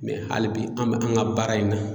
hali bi an bɛ an ka baara in na.